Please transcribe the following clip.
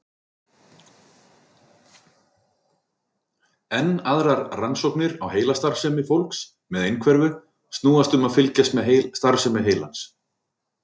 Enn aðrar rannsóknir á heilastarfsemi fólks með einhverfu snúast um að fylgjast með starfsemi heilans.